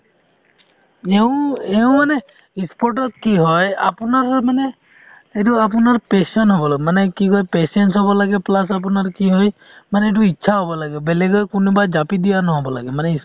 এওঁ এওঁ মানে sports ত কি হয় মানে এইটো আপোনাৰ passion হব লাগিব মানে কি কয় patience হব লাগে plus আপোনাৰ কি হয় মানে ইটো ইচ্ছা হব লাগে বেলেগে কোনোবাই জাপি দিয়া নহ'ব লাগে মানে